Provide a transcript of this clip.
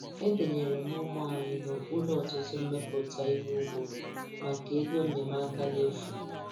Edenyere m ugbo anyi n' okpuru ọtụtụ mmmeputa ihe ugbo maka ego nnyeamaka n' efu.